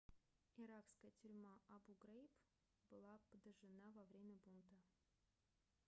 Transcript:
иракская тюрьма абу-грейб была подожжена во время бунта